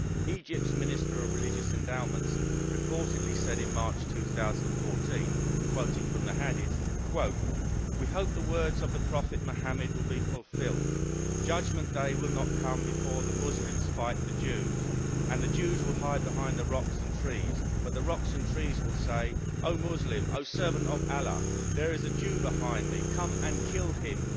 Egypt's Minister of Religious Endowments reportedly said in March 2014 quoting from the Hadith We hope that the words of the Prophet Muhammad will be fulfilled Judgment Day will not come before the Muslims fight the Jews, and the Jews will hide behind the rocks and the trees, but the rocks and the trees will say O Muslim, O servant of Allah, there is a Jew behind me, come and kill him'.